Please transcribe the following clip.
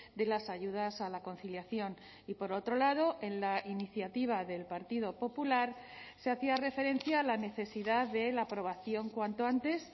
de las ayudas a la conciliación y por otro lado en la iniciativa del partido popular se hacía referencia a la necesidad de la aprobación cuanto antes